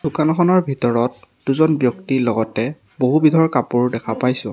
দোকানখনৰ ভিতৰত দুজন ব্যক্তি লগতে বহু বিধৰ কাপোৰ দেখা পাইছোঁ।